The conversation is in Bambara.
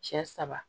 Cɛ saba